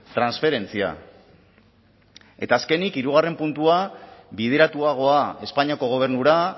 transferentzia eta azkenik hirugarren puntua bideratuagoa espainiako gobernura